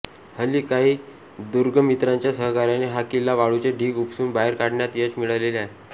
हल्ली काही दुर्गमित्रांच्या सहकार्याने हा किल्ला वाळूचे ढिग उपसून बाहेर काढण्यात यश मिळालेले आहे